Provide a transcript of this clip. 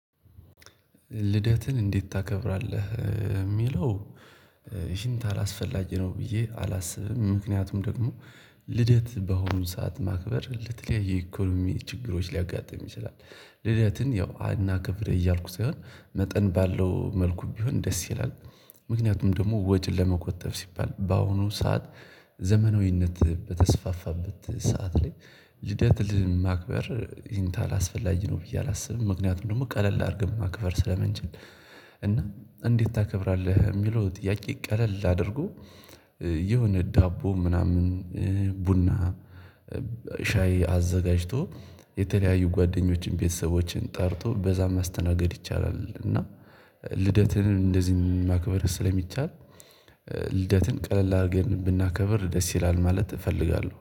ልደትን እንዴት ታከብራለህ እሚለው ይሄን ታህል አስፈላጊ ነው ብዬ አላስብም ምክንያቱም ደግሞ ልደት ባሁኑ ሰዓት ማክበር ለተለያየ ኢኮኖሚ ችግሮች ሊያጋጥም ይችላል። ልደትን ያው አናክብር እያልኩ ሳይሆን መጠን ባለው መልኩ ቢሆን ደስ ይላል። ምክንያቱም ደግሞ ወጪን ለመቆጠብ ሲባል በአሁኑ ሰዓት ዘመናዊነት በተስፋፋበት ሰዓት ላይ ልደትን ማክበር ይህን ታህል አስፈላጊ ነው ብዬ አላስብም ምክንያቱም ደግሞ ቀለል አርገን ማክበር ስለምንችል እና እንዴት ታከብራለህ የሚለው ጥያቄ ቀለል ላድርጉ የሆነ ዳቦ ምናምን ቡና ሻይ አዘጋጅቶ የተለያዩ ጓደኞችን ቤተሰቦችን ጠርቶ በዛም መስተናገድ ይቻላል እና ልደትን እንደዚህም ማክበር ስለሚቻል ልደትን ቀለል አርገን ብናከብር ደስ ይላል ማለት እፈልጋለሁ